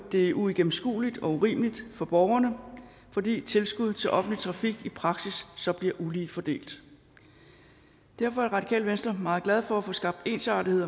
det uigennemskueligt og urimeligt for borgerne fordi tilskud til offentlig trafik i praksis så bliver ulige fordelt derfor er radikale venstre meget glad for at få skabt ensartethed